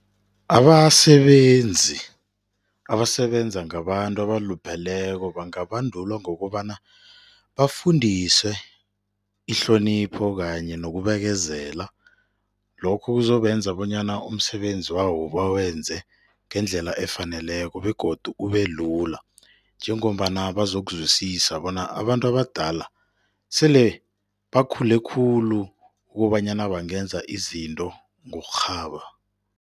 Abasebenzi abasebenza ngabantu abalupheleko bangabandulwa ngokobana bafundiswe ihlonipho kanye nokubekezela. Lokho kuzobenza bonyana umsebenzi wabo bawenze ngendlela efaneleko begodu ubelula njengombana bazokuzwisisana bona abantu abadala sele bakhule khulu ukobanyana bangenza izinto ngokurhaba.